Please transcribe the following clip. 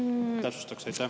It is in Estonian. Ehk täpsustaks.